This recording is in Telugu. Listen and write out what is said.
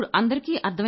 ఇప్పుడు అందరికీ